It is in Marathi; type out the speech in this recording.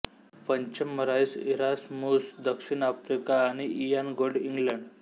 पंच मराईस इरास्मुस दक्षिण आफ्रिका आणि इयान गोल्ड इंग्लंड